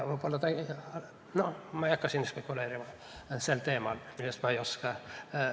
Ma ei hakka siin spekuleerima sel teemal, millest ma ei oska ...